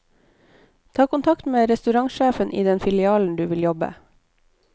Ta kontakt med restaurantsjefen i den filialen du vil jobbe.